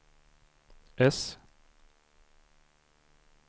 äss